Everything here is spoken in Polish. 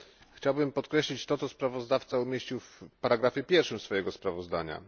Chciałbym podkreślić to, co sprawozdawca umieścił w ustępie pierwszym swojego sprawozdania.